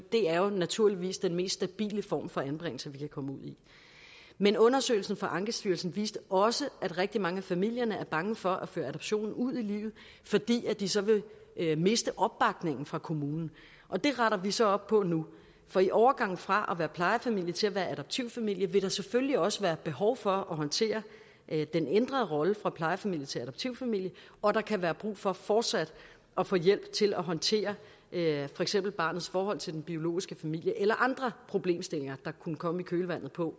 det er jo naturligvis den mest stabile form for anbringelse vi kan komme ud i men undersøgelsen fra ankestyrelsen viste også at rigtig mange af familierne er bange for at føre adoptionen ud i livet fordi de så vil miste opbakningen fra kommunen og det retter vi så op på nu for i overgangen fra at være plejefamilie til at være adoptivfamilie vil der selvfølgelig også være behov for at håndtere den ændrede rolle fra plejefamilie til adoptivfamilie og der kan være brug for fortsat at få hjælp til at håndtere for eksempel barnets forhold til den biologiske familie eller andre problemstillinger der kunne komme i kølvandet på